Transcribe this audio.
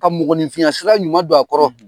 Ka mɔgɔninfinya sura ɲuman don a kɔrɔ.